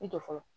I jɔ fɔlɔ